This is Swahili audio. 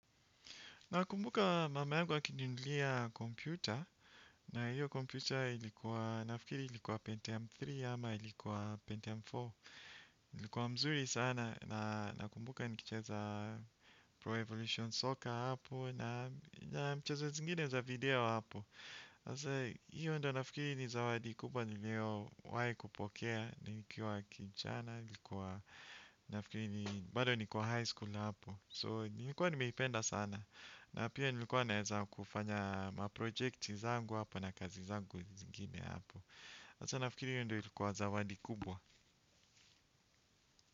Nakumbuka mama yangu akinunulia kompyuta na hiyo kompyuta ilikuwa nafikiri ilikuwa Pentium tatu ama ilikuwa Pentium nne. Ilikuwa mzuri sana na nakumbuka nikicheza Pro Evolution Soccer hapo na mchezo zingine za video hapo. Na sasa hiyo ndo nafikiri ni zawadi kubwa nilio wahi kupokea nikiwa kijana ilikuwa nafikiri ni bado nikuwa high school na hapo So nilikuwa nimeipenda sana. Na pia nilikuwa naeza kufanya maprojecti zangu hapa na kazi zangu zingine hapo. Ata nafikiri hiyo ndio ilikuwa zawadi kubwa.